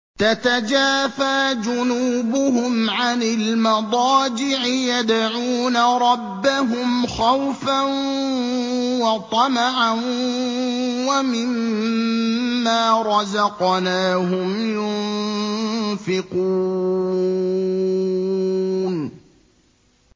تَتَجَافَىٰ جُنُوبُهُمْ عَنِ الْمَضَاجِعِ يَدْعُونَ رَبَّهُمْ خَوْفًا وَطَمَعًا وَمِمَّا رَزَقْنَاهُمْ يُنفِقُونَ